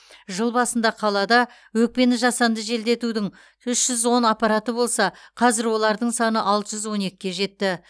жыл басында қалада өкпені жасанды желдетудің үш жүз он аппараты болса қазір олардың саны алты жүз он екіге жетті